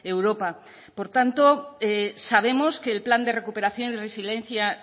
europa por tanto sabemos que el plan de recuperación y resiliencia